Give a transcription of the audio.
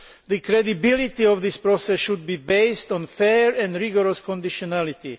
The credibility of this process should be based on fair and rigorous conditionality.